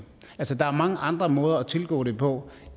altså der er mange andre måde at tilgå det på